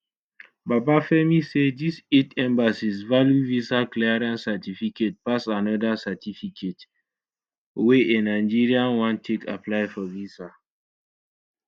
babafemi say dis eight embassies value visa clearance certificate pass anoda certificate wey a nigerian wan take apply for visa